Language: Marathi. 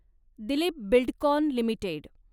Dilip Buildcon limited